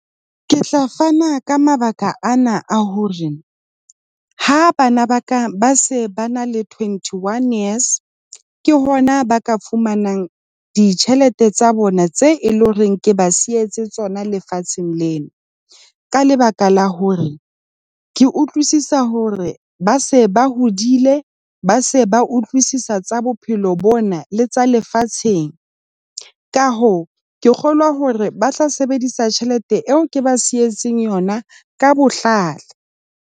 Ke tla fana ka mabaka ana a hore ha bana ba ka ba se na le twenty one years ke hona ba ka fumanang ditjhelete tsa bona tse e leng hore ke ba sietse tsona lefatsheng lena. Ka lebaka la hore ke utlwisisa hore ba se ba hodile ba se ba utlwisisa tsa bophelo bona le tsa lefatsheng ka hoo ke kgolwa hore ba tla sebedisa tjhelete eo ke ba sietseng yona ka bohlale.